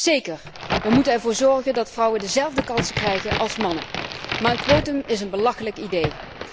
Zeker, we moeten ervoor zorgen dat vrouwen dezelfde kansen krijgen als mannen, maar een quotum is een belachelijk idee.